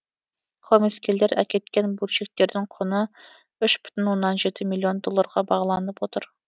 қылмыскерлер әкеткен бөлшектердің құны үш бүтін оннан жеті миллион долларға бағаланып отыр